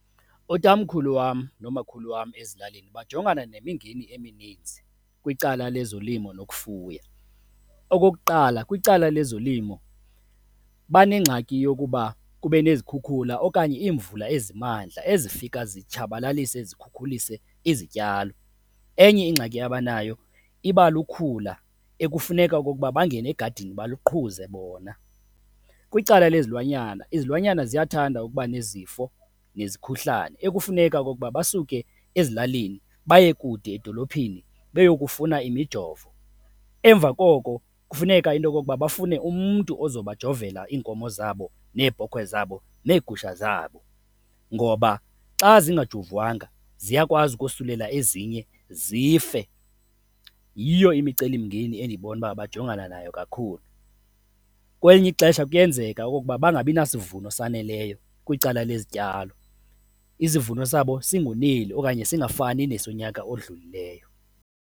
Utamkhulu wam nomakhulu wam ezilalini bajongana nemingeni emininzi kwicala lezolimo nokufuya. Okokuqala, kwicala lezolimo banengxaki yokuba kube nezikhukhula okanye iimvula ezimandla, ezifika zitshabalalise ezikhukhulise izityalo. Enye ingxaki abanayo iba lukhula ekufuneka okokuba bangene egadini baliqhuze bona. Kwicala lezilwanyana, izilwanyana ziyathanda ukuba nezifo nezikhuhlane ekufuneka okokuba basuke ezilalini baye kude edolophini beyokufuna imijo. Emva koko, kufuneka into yokokuba bafune umntu oza bajovela iinkomo zabo, neebhokhwe zabo, neegusha zabo ngoba xa zingajovwanga, ziyakwazi ukosulelwa ezinye, zife. Yiyo imicelimngeni endibona uba bajongana nayo kakhulu. Kwelinye ixesha kuyenzeka okokuba bangabina sivuno saneleyo kwicala lezityalo, isivuno sabo singoneli okanye singafani nesonyaka odlulileyo.